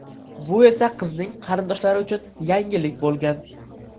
Bu esa qizning qarindoshlari uchun yangilik bo‘lgan.